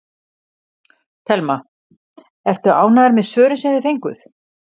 Telma: Ertu ánægður með svörin sem þið fenguð?